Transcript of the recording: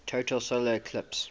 total solar eclipse